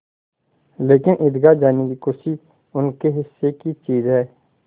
लेकिन ईदगाह जाने की खुशी उनके हिस्से की चीज़ है